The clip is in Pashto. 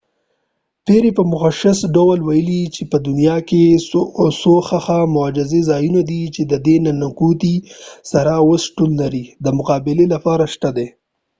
پیری په مشخص ډول وويل چې په دنیا کې څو ښه مجهز ځایونه دي چې ددې ننګونی سره چې اوس شتون لري دمقابلی لپاره شته دي